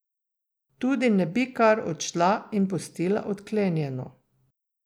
Tudi ne bi kar odšla in pustila odklenjeno.